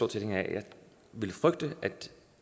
tilhænger af jeg ville frygte